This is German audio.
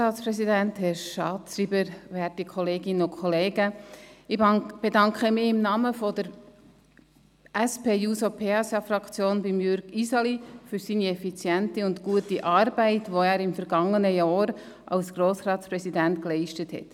Ich bedanke mich im Namen der SP-JUSO-PSA-Fraktion bei Jürg Iseli für seine effiziente und gute Arbeit, die er im vergangenen Jahr als Grossratspräsident geleistet hat.